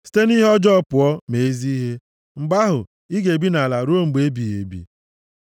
Site nʼihe ọjọọ pụọ, mee ezi ihe, mgbe ahụ, i ga-ebi nʼala a ruo mgbe ebighị ebi.